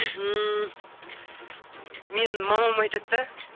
ммм менің мамам айтады да